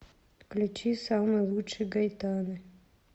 включи самый лучший гайтаны